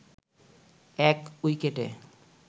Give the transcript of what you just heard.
১ উইকেটে